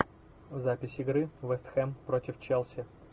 запись игры вест хэм против челси